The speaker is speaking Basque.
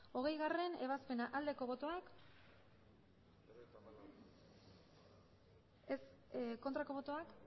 hogeigarrena ebazpena aldeko botoak aurkako botoak